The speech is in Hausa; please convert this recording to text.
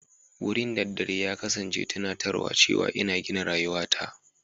Wurin daddare ya kasance tunatarwa cewa ina gina rayuwata.